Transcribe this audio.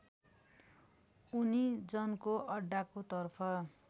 उनी जनको अड्डाको तर्फ